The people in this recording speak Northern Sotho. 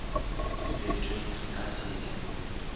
setšwe re ka se ye